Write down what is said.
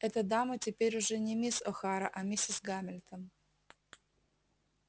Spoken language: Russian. эта дама теперь уже не мисс охара а миссис гамильтон